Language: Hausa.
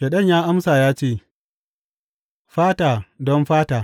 Shaiɗan ya amsa ya ce, Fata don fata!